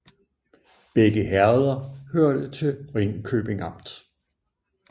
Begge herreder hørte til Ringkøbing Amt